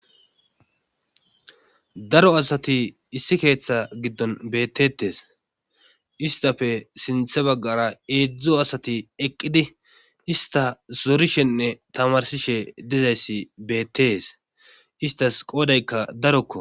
daro asati issi keeththe giddon bettetes istafe sinthe baggara eedzdzo asati eqqidi ista zorishenne tamarsishe dizayssi beettees istas qoodaykka darokko